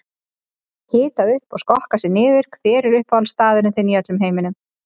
Hita upp og skokka sig niður Hver er uppáhaldsstaðurinn þinn í öllum heiminum?